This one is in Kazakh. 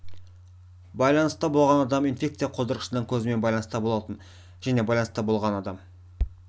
байланыста болған адам инфекция қоздырғышының көзімен байланыста болатын және байланыста болған адам